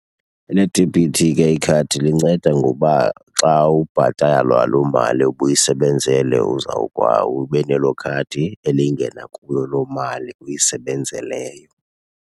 Eledebhithi ke ikhadi linceda ngoba xa ubhatalwa loo mali ubuyisebenzele ube nelo khadi elingena kuyo loo mali uyisebenzeleyo.